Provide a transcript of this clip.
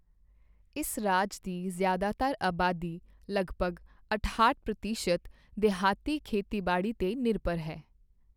ਇਸ ਰਾਜ ਦੀ ਜ਼ਿਆਦਾਤਰ ਆਬਾਦੀ, ਲਗਭਗ ਅਠਾਹਠ ਪ੍ਰਤੀਸ਼ਤ, ਦਿਹਾਤੀ ਖੇਤੀਬਾੜੀ 'ਤੇ ਨਿਰਭਰ ਹੈ।